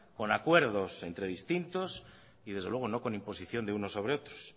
con acuerdos entre distintos y desde luego no con imposiciónde unos sobre otros